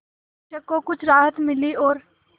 शिक्षक को कुछ राहत मिली और